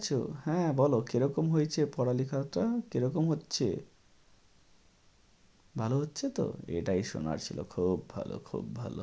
বসে আছো? হ্যাঁ বলো, কী রকম হয়েছে পড়ালেখাটা? কী রকম হচ্ছে? ভালো হচ্ছে তো? এটাই শোনার ছিল, খুব ভালো খুব ভালো।